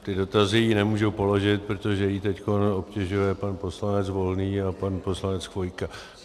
Ty dotazy jí nemůžu položit, protože ji teď obtěžuje pan poslanec Volný a pan poslanec Chvojka.